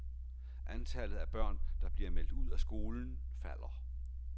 Antallet af børn, der bliver meldt ud af skolen, falder.